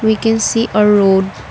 we can see a road.